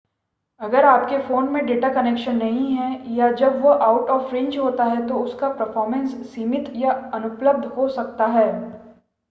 अगर आपके फ़ोन में डेटा कनेक्शन नहीं है या जब वह आउट ऑफ़ रेंज होता है तो उनका परफ़ॉर्मेंस सीमित या अनुपलब्ध हो सकता है